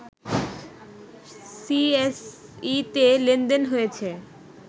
সিএসইতে লেনদেন হয়েছে